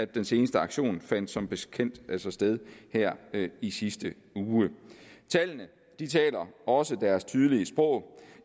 den seneste aktion fandt som bekendt altså sted her i sidste uge tallene taler også deres tydelige sprog